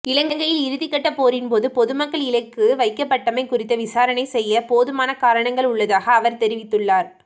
இலங்கையில் இறுதிக்கட்ட போரின் போது பொதுமக்கள் இலக்கு வைக்கப்பட்டமை குறித்து விசாரணை செய்ய போதுமான காரணங்கள் உள்ளதாக அவர் தெரிவித்துள்ளார்